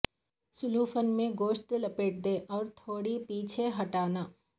cellophane میں گوشت لپیٹ دیں اور تھوڑا پیچھے ہٹانا